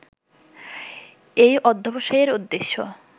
এই অধ্যবসায়ের উদ্দেশ্য